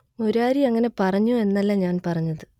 മുരാരി അങ്ങനെ പറഞ്ഞു എന്നല്ല ഞാൻ പറഞ്ഞത്